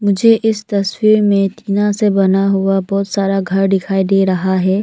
मुझे इस तस्वीर में तीना से बना हुआ बहुत सारा घर डिखाई डे रहा है।